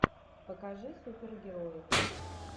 покажи супергерои